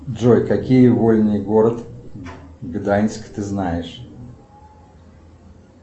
джой какие вольные город гданьск ты знаешь